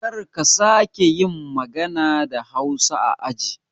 Karka sake yin magana da hausa a aji